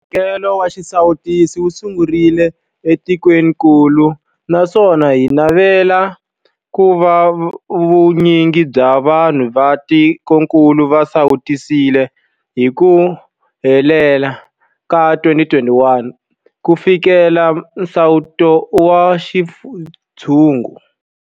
Mphakelo wa xisawutisi wu sungurile etikwenikulu naswona hi navela ku va vu nyingi bya vanhu va tikokulu va sawutisiwile hi ku hela ka 2021 ku fikelela nsawuto wa xintshungu.